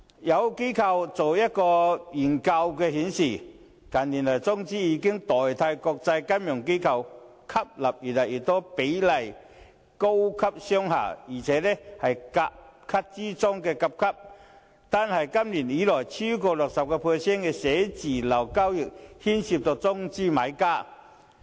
有機構進行的研究顯示，近年中資已取代國際金融機構吸納越來越多的高級商廈，這些商廈更是甲級中的甲級，單是今年，已有超過 60% 的寫字樓交易是中資買家。